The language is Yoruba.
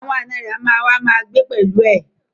Àwọn ànọ́ rẹ̀ á ma wá ma gbé pẹ̀lú ẹ